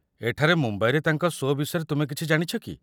ଏଠାରେ ମୁମ୍ବାଇରେ ତାଙ୍କ ଶୋ' ବିଷୟରେ ତୁମେ କିଛି ଜାଣିଛ କି?